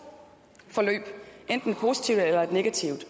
forløb enten et positivt eller et negativt